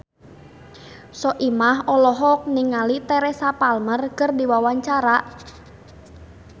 Soimah olohok ningali Teresa Palmer keur diwawancara